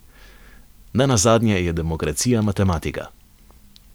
Nenazadnje je demokracija matematika.